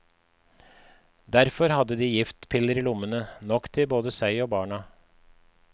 Derfor hadde de giftpiller i lommene, nok til både seg og barna.